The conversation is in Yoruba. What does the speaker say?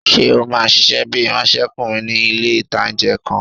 Ṣé o máa ṣiṣẹ́ bíi ìránsẹ́kùnrin ní ilé-ìtánjẹ kan?